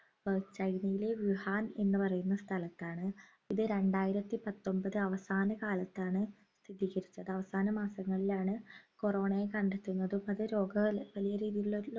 ഏർ ചൈനയിലെ വുഹാൻ എന്നു പറയുന്ന സ്ഥലത്താണ് ഇത് രണ്ടായിരത്തി പത്തൊമ്പത് അവസാനക്കാലത്താണ് സ്ഥിതികരിച്ചത്. അവസാന മാസങ്ങളിലാണ് corona യെ കണ്ടെത്തുന്നതും അത് രോഗ വലിയ രീതിലുള്ള